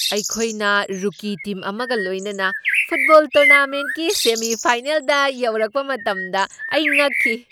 ꯑꯩꯈꯣꯏꯅ rookie team ꯑꯃꯒ ꯂꯣꯏꯅꯅ ꯐꯨꯠꯕꯣꯜ ꯇꯣꯔꯅꯥꯃꯦꯟꯠꯀꯤ ꯁꯦꯃꯤ ꯐꯥꯏꯅꯦꯜꯗ ꯌꯧꯔꯛꯄ ꯃꯇꯝꯗ ꯑꯩ ꯉꯛꯈꯤ꯫